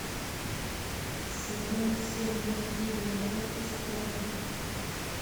сезон семь мультфильма доктор стоун